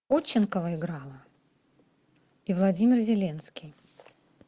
ходченкова играла и владимир зеленский